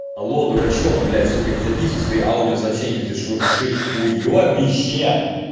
алло дурачок блядь сука не записывай свои аудиосообщения ты шуршишь уёбище